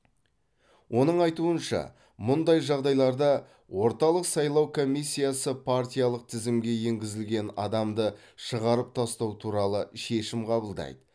оның айтуынша мұндай жағдайларда орталық сайлау комиссиясы партиялық тізімге енгізілген адамды шығарып тастау туралы шешім қабылдайды